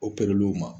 ma